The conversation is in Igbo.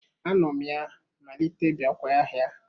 Anom ya malite biakwa ahia